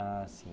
Ah, sim.